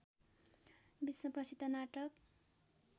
विश्व प्रसिद्ध नाटक